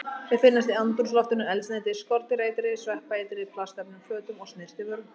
Þau finnast í andrúmsloftinu, eldsneyti, skordýraeitri, sveppaeitri, plastefnum, fötum og snyrtivörum.